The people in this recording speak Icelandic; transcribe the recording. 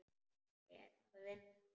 Er það vinnan?